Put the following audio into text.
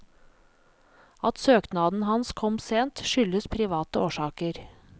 At søknaden hans kom sent, skyldes private årsaker.